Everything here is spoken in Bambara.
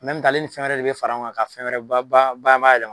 ale ni fɛn wɛrɛ de bɛ fara ɲɔgɔn kan ka fɛn wɛrɛ bayɛlɛma